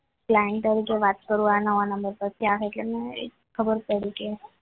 તારી જોડે વાત કરવાનો નવો નંબર પરથી ખબર પડી કે હા